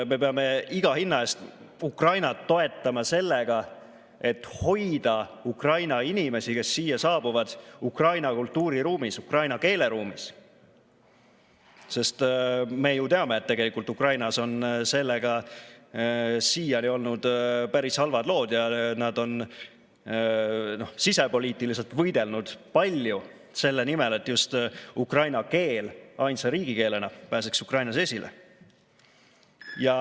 Me peame iga hinna eest Ukrainat toetama sellega, et hoida Ukraina inimesi, kes siia saabuvad, ukraina kultuuriruumis, ukraina keeleruumis, sest me ju teame, et tegelikult Ukrainas on sellega siiani olnud päris halvad lood ja nad on sisepoliitiliselt võidelnud palju selle nimel, et ukraina keel pääseks ainsa riigikeelena Ukrainas esile.